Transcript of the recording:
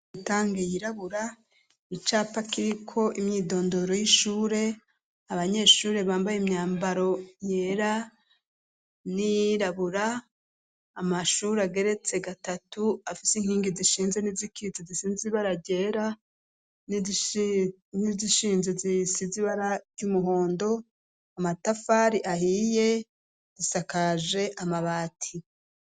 Itangi yirabura, icapa kiriko imyidondoro y'ishure, abanyeshuri bambaye imyambaro yera n'iyirabura , amashure ageretse gatatu afise inkingi zishinze n'izikitse zisie ibara ryera ,n'izishinze zisize ibara ry'umuhondo, amatafari ahiye zisakaje amabati.